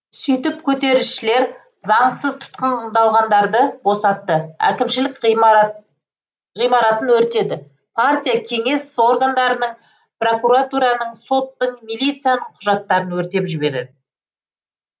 сөйтіп көтерілісшілер заңсыз тұтқындалғандарды босатты әкімшілік ғимаратын өртеді партия кеңес органдарының прокуратураның соттың милицияның құжаттарын өртеп жіберді